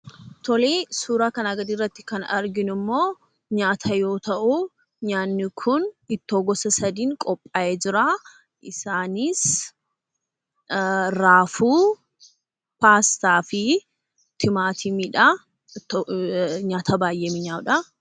Suuraa kanaa gadiirratti kan arginummoo nyaata yoo ta'u, nyaatni kun ittoo gosa sadiin qophaayee jira. Isaanis raafuu, paastaa fi timaatimiidha. Nyaata baay'ee mi'aawudha.